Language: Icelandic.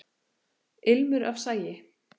Ilmur af sagi.